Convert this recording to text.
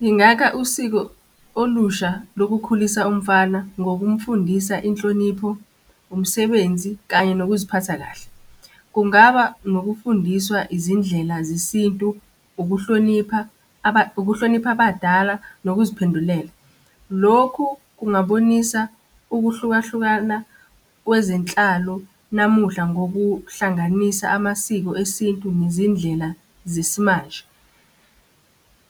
Ngingakha usiko olusha lokukhulisa umfana ngokumfundisa inhlonipho, umsebenzi, kanye nokuziphatha kahle. Kungaba ngokufundiswa izindlela zesintu, ukuhlonipha, ukuhlonipha abadala nokuziphendulela. Lokhu kungabonisa ukuhlukahlukana kwezenhlalo namuhla, ngokuhlanganisa amasiko esintu nezindlela zesimanje.